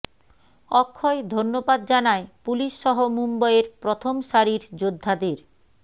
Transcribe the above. অক্ষয় ধন্যবাদ জানায় পুলিশ সহ মুম্বইয়ের প্রথম সারির যোদ্ধাদের